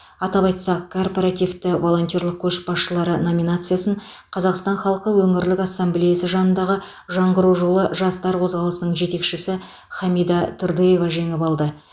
атап айтсақ корпоративті волонтерлік көшбасшылары номинациясын қазақстан халқы өңірлік ассамблеясы жанындағы жаңғыру жолы жастар қозғалысының жетекшісі хамида тұрдыева жеңіп алды